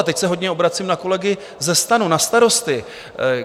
A teď se hodně obracím na kolegy ze STANu, na starosty.